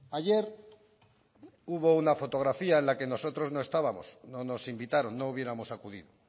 ayer hubo una fotografía en la que nosotros no estábamos no nos invitaron no hubiéramos acudido